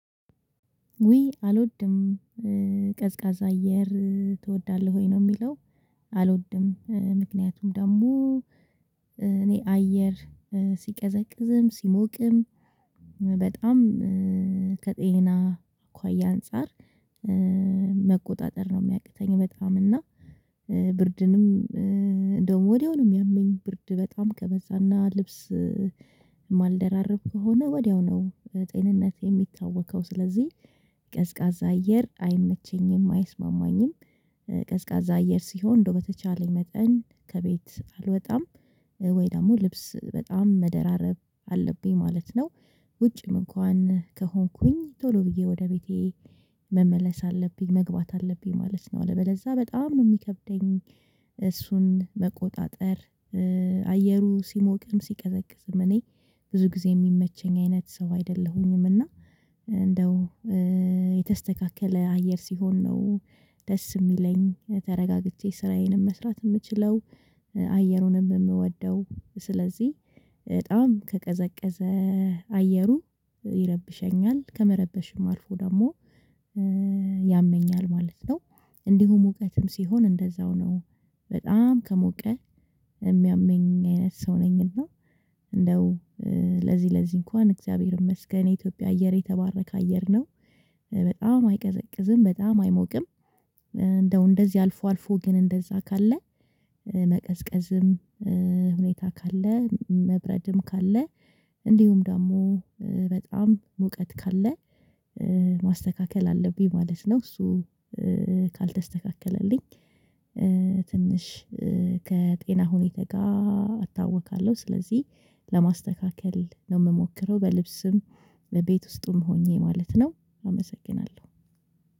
ውይ አልወድም ቀዝቃዛ አየር ትወዳለህ ወይ ነው የሚለው? አልወድም ምክንያቱም ደግሞ እኔ አየር ሲቀዘቅዝም ሲሞቅም በጣም ከጤና እኳ ያ አንፃር መቆጣጠር ነው የሚያቅተኝ በጣም እና ብርድንም እንደውም ወዲያው ነው የሚያመኝ ብርድ በጣም ከበዛና ልብስ የማልደራርብ ከሆነ ወዲያው ነው ጤንነት የሚታወከው ስለዚህ ቀዝቃዛ አየር አይመቸኝም አይስማማኝም። ቀዝቃዛ አየር ሲሆን እንደው በተቻለኝ መጠን ከቤት አልወጣም ወይ ደግሞ ልብስ በጣም መደራረብ አለብኝ ማለት ነው። ውጭም እንኳን ከሆንኩኝ ቶሎ ብዬ ወደ ቤቴ መመለስ አለብኝ መግባት አለብኝ ማለት ነው አለበለዛ በጣም ነው የሚከብደኝ። እሱን መቆጣጠር አየሩ ሲሞቅም ሲቀዘቅዝም እኔ ብዙ ጊዜ የሚመቸኝ አይነት ሰው አይደለሁኝም እና እንደው የተስተካከለ አየር ሲሆን ነው ደስ የሚለኝ ተረጋግቼ ስራዬንም መስራት የምችለው አየሩንም የምወደው ስለዚህ በጣም ከቀዘቀዘ አየሩ ይረብሸኛል ከመረበሽም አልፎ ደግሞ ያመኛል ማለት ነው። እንዲሁም ሙቀትም ሲሆን እንደዛው ነው በጣም ከሞቀ የሚያመኝ አይነት ሰው ነኝና እንደው ለዚህ ለዚህ እንኳን እግዚአብሔር ይመስገን የኢትዮጵያ አየር የተባረከ አየር ነው በጣም አይቀዘቅዝም በጣም አይሞቅም። እንደው እንደዚህ አልፎ አልፎ ግን እንደዛ ካለ መቀዝቀዝም ሁኔታ ካለ መብረድም ካለ እንዲሁም ደግሞ በጣም ሙቀት ካለ ማስተካከል አለብኝ ማለት ነው። እሱ ካልተስተካከለልኝ ትንሽ ከጤና ሁኔታ ጋር አታውካለሁ ስለዚህ ለማስተካከል ነው የምሞክረው በልብስም በቤት ውስጥም ሆኜ ማለት ነው። አመሰግናለሁ።